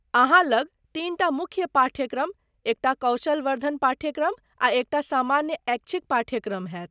अहाँ लग तीनटा मुख्य पाठ्यक्रम, एकटा कौशल वर्धन पाठ्यक्रम आ एकटा सामान्य ऐच्छिक पाठ्यक्रम होयत।